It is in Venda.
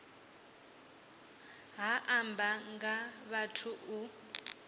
ha amba nga vhathu u